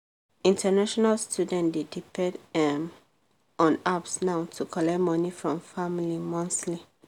international students dey depend um on apps now to collect money from family monthly.